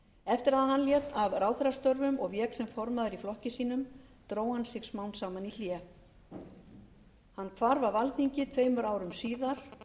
eftir að hann lét af ráðherrastörfum og vék sem formaður í flokki sínum dró hann sig smám saman í hlé hann hvarf af alþingi tveimur árum síðar